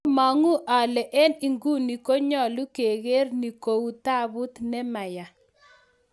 Amang'u ale en inguni konyolu keger ni kou taabut ne maya